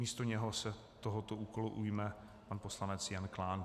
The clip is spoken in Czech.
Místo něj se tohoto úkolu ujme pan poslanec Jan Klán.